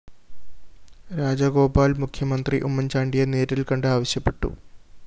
രാജഗോപാല്‍ മുഖ്യമന്ത്രി ഉമ്മന്‍ചാണ്ടിയെ നേരില്‍കണ്ട് ആവശ്യപ്പെട്ടു